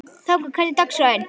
Bobba, hvernig er dagskráin?